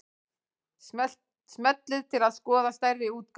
Smellið til að skoða stærri útgáfu